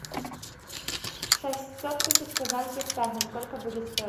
шестьсот тысяч казахских тенге сколько будет стоить